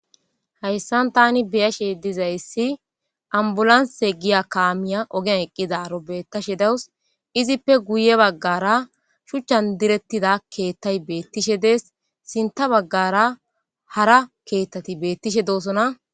Haysan tan be'ishen de'izaysi ambulance giza kamiya Ogen eqidara betishe dawusu Izi guye shuchan diretida ketay betishe des sinta bagara hara ketati betishe dosona